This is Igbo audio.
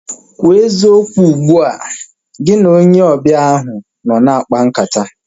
Kwụọ eziokwu ugbua! Gị na onye ọbịa ahu nọ na-akpa nkata